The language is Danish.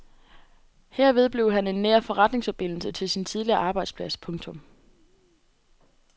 Herved blev han en nær forretningsforbindelse til sin tidligere arbejdsplads. punktum